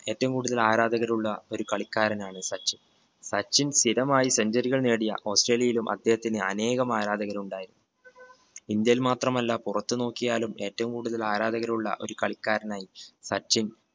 ഏറ്റവും കൂടുതൽ ആരാധകരുള്ള ഒരു കളിക്കാരനാണ് സച്ചിൻ. സച്ചിൻ സ്ഥിരമായി centuary കൾ നേടിയ ഓസ്‌ട്രേലിയയിലും അദ്ദേഹത്തിന് അനേകം ആരാധകർ ഉണ്ടായി ഇന്ത്യയിൽ മാത്രമല്ല പുറത്തു നോക്കിയാലും ഏറ്റവും കൂടുതൽ ആരാധകരുള്ള ഒരു കളിക്കാരനായി സച്ചിൻ